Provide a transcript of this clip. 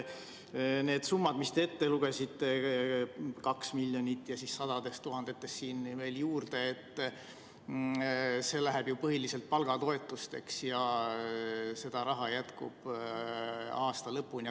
Need summad, mis te ette lugesite – 2 miljonit ja sadu tuhandeid siin veel juurde –, lähevad põhiliselt palgatoetusteks ja seda raha jätkub aasta lõpuni.